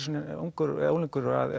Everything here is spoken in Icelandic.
ungur ungur